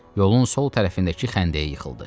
Yolun sol tərəfindəki xəndəyə yıxıldı.